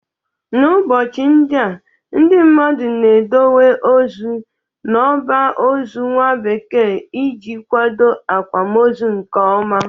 N'ụbọchị ndịa, ndị mmadụ na-edowe ozu n'ọba ozo nwa bekee iji kwado akwamozo nke ọma.